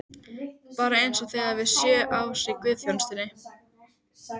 Bara eins og þegar við vorum sjö ára í guðsþjónustunni!